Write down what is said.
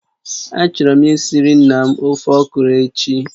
Achọrọ m esiri nna m ofe okro echi